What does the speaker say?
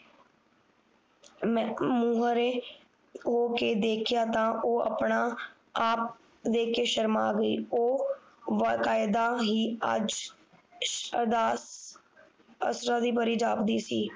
ਮੇਹ ਮੂਹਰੇ ਹੋਕੇ ਦੇਖਿਆ ਤਾ ਉਹ ਆਪਣਾ ਆਪ ਦੇਖ ਕੇ ਸ਼ਰਮਾ ਗਈ ਉਹ ਵਕ਼ਾਯਦਾ ਹੀ ਅੱਜ ਅਦਾ ਅਸਲਾ ਦੀ ਪਰੀ ਜਾਪਦੀ ਸੀ